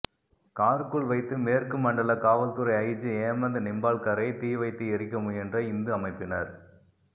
காருக்குள் வைத்து மேற்கு மண்டல காவல்துறை ஐஜி ஹேமந்த் நிம்பால்கரை தீ வைத்து எரிக்க முயன்ற இந்து அமைப்பினர்